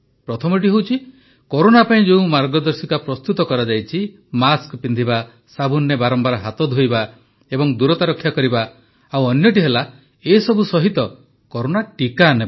ପ୍ରଥମଟି ହେଉଛି କରୋନା ପାଇଁ ଯେଉଁ ମାର୍ଗଦର୍ଶିକା ପ୍ରସ୍ତୁତ କରାଯାଇଛି ମାସ୍କ ପିନ୍ଧିବା ସାବୁନରେ ବାରମ୍ବାର ହାତ ଧୋଇବା ଏବଂ ଦୂରତା ରକ୍ଷା କରିବା ଆଉ ଅନ୍ୟଟି ହେଲା ଏସବୁ ସହିତ କରୋନା ଟିକା ନେବା